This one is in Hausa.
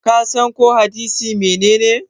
kasan ko hadisi menene?